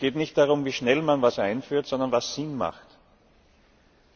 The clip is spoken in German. Es geht nicht darum, wie schnell man etwas einführt, sondern was Sinn ergibt.